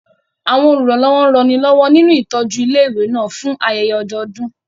Àwọn olùrànlọ́wọ́ ranilọ́wọ́ nínú ìtọ́jú ilé ìwé náà fún ayẹyẹ ọdọọdún